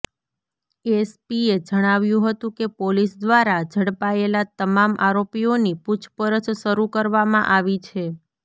એસપીએ જણાવ્યું હતું કે પોલીસ દ્વારા ઝડપાયેલા તમામ આરોપીઓની પૂછપરછ શરૂ કરવામાં આવી છે